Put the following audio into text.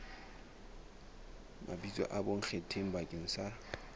mabitso a bonkgetheng bakeng sa